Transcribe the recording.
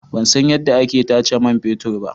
Ban san yadda ake tace man fetur ba.